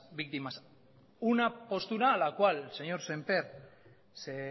víctimas una postura a la cual el señor sémper se